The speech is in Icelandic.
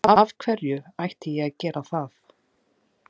Af hverju ætti ég að gera það?